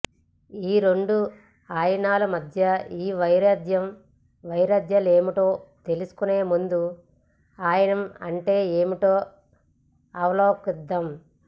ఈ రెండు ఆయనాల మధ్య ఈ వైరుధ్య వైవిధ్యాలేమిటో తెలుసుకునేముందు ఆయనం అంటే ఏమిటో అవలోకిద్దాం